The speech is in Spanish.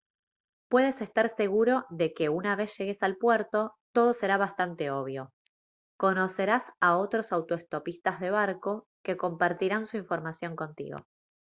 puedes estar seguro de que una vez llegues al puerto todo será bastante obvio conocerás a otros autoestopistas de barco que compartirán su información contigo